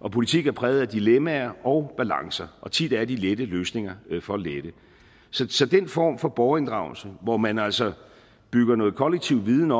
og politik er præget af dilemmaer og balancer og tit er de lette løsninger for lette så den form for borgerinddragelse hvor man altså bygger noget kollektiv viden